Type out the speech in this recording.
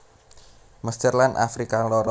Mesir lan Afrika Lor